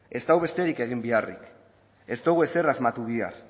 ez dago besterik egin beharrik ez dugu ezer asmatu behar